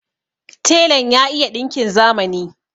Telan ya iya ɗinkin zamani.